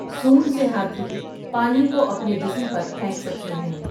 سونڈ سے ہاتھی پانی کو اپنے جسم پر پھینک سکتے ہیں ۔